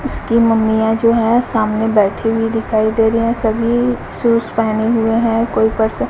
उसकी मम्मीया है जो है सामने बैठी हुई दिखाई दे रही है सभी शूज पहने हुए हैं कोई पर्सन --